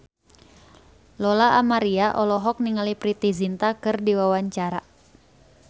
Lola Amaria olohok ningali Preity Zinta keur diwawancara